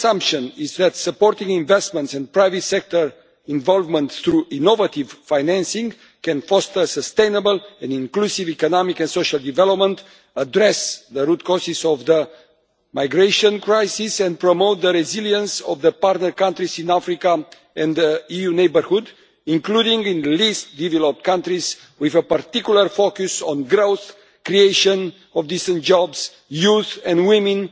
main assumption is that supporting investment and private sector involvement through innovative financing can foster sustainable and inclusive economic and social development and address the root causes of the migration crisis and promote the resilience of the partner countries in Africa and the EU neighbourhood, including in the least developed countries, with a particular focus on growth, the creation of decent jobs, youth and women,